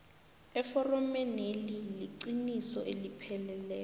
eforomeneli iliqiniso elipheleleko